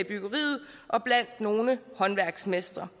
byggeriet og blandt nogle håndværksmestre